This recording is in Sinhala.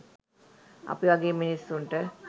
අපි වගේ මිනිස්සුන්ට